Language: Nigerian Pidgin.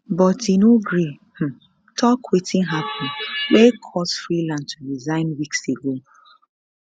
but e no gree um tok wetin happun wey cause freeland to resign weeks ago